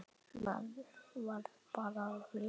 Maður varð bara að lifa.